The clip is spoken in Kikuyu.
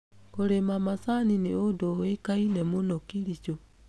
Kũrĩma macani nĩ ũndũ ũĩkaine mũno Kericho.